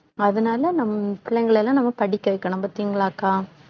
அதனால நம்ம பிள்ளைங்களை எல்லாம் நம்ம படிக்க வைக்கணும் பாத்தீங்களாக்கா